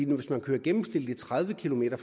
hvis man kører gennemsnitligt tredive kilometer